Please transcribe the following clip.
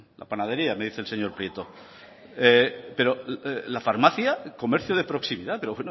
la panadería me dice el señor prieto pero la farmacia comercio de proximidad pero